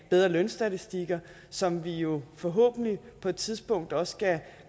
af bedre lønstatistikker som vi jo forhåbentlig på et tidspunkt også